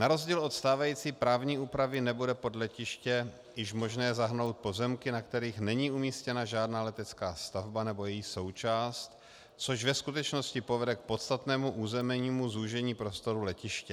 Na rozdíl od stávající právní úpravy nebude pod letiště již možné zahrnout pozemky, na kterých není umístěna žádná letecká stavba nebo její součást, což ve skutečnosti povede k podstatnému územnímu zúžení prostoru letiště.